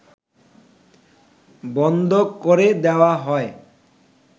বন্ধ করে দেয়া হয়